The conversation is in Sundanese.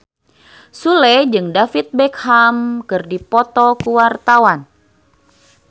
Sule jeung David Beckham keur dipoto ku wartawan